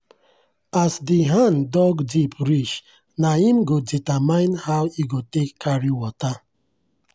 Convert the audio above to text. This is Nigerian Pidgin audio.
as de hand dug deep reach nah im go determine how e go take carry water.